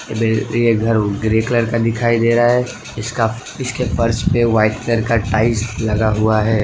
ये घर grey colour का दिखाई दे रहा है इसका इसके फर्श पे वाइट कलर का टाइल्स लगा हुआ है।